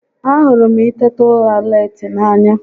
A hụrụ m i teta ura leeti n'anya